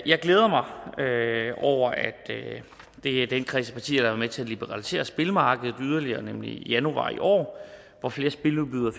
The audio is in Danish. jeg glæder mig over at det er den kreds af partier der med til at liberalisere spilmarkedet yderligere nemlig i januar i år hvor flere spiludbydere